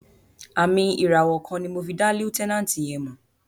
Àmìn ìràwọ̀ kan ni mo fi dá lieutenant yẹn mọ̀.